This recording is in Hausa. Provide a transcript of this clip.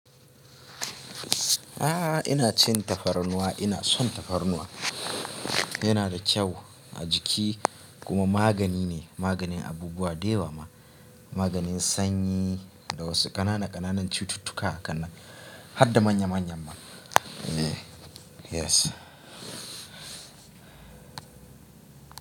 A'a ina cin tafarnuwa, ina son tafarnuwa. Yana da kyau a jiki kuma magani ne. Maganin abubuwa dayawa ma, maganin sanyi da wasu ƙanana ƙananan cututtuka haka nan har da manya manya ma. Eh yes.